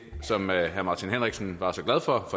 som herre martin henriksen var så glad for